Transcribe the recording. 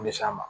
U bɛ s'an ma